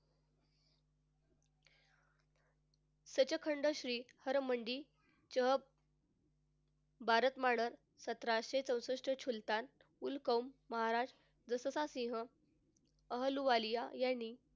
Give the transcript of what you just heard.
सचखंड श्री हर मंदी च सतराशे चौसष्ट सुलतान उलकौम महाराज जस जसा सिंह अहलुवालिया यांनी,